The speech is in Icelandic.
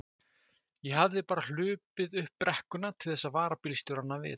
Ef ég hefði bara hlaupið upp brekkuna til þess að vara bílstjórana við!